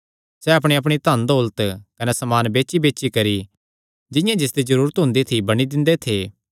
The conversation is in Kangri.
सैह़ अपणीअपणी धन दौलत कने समान बेचीबेची करी जिंआं जिसदी जरूरत हुंदी थी बंडी दिंदे थे